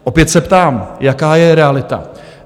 Opět se ptám, jaká je realita?